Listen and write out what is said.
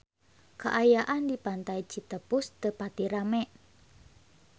Kaayaan di Pantai Citepus teu pati rame